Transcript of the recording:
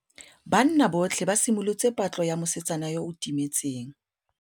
Banna botlhê ba simolotse patlô ya mosetsana yo o timetseng.